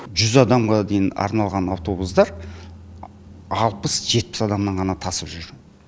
жүз адамға дейін арналған автобустар алпыс жетпіс адамнан ғана тасып жүр